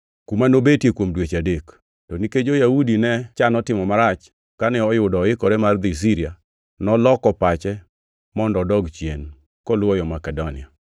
kuma nobetie kuom dweche adek. To nikech jo-Yahudi ne chano timo ne marach kane oyudo oikore mar dhi Siria, noloko pache mondo odog chien, koluwo Makedonia.